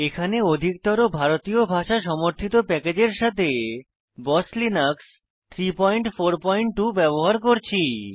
এখানে অধিকতর ভারতীয় ভাষা সমর্থিত প্যাকেজের সাথে বস লিনাক্স 342 ব্যবহার করছি